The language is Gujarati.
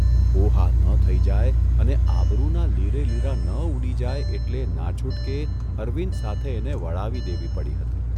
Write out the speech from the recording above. હોહા ન થઇ જાય અને આબરૂના લીરેલીરા ન ઊડી જાય એટલે નાછૂટકે અરવિંદ સાથે એને વળાવી દેવી પડી હતી.